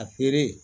A feere